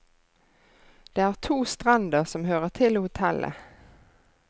Det er to strender som hører til hotellet.